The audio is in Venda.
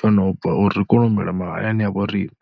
tsho no bva, uri ri kone u humela mahayani a vho riṋe.